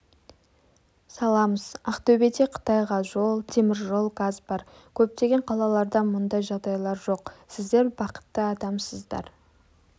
саламыз ақтөбеде қытайға жол теміржол газ бар көптеген қалаларда мұндай жағдайлар жоқ сіздер бақытты адамдарсыздар